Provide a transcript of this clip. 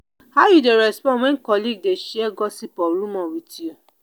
how you dey respond when colleague dey share gossip or rumor with you?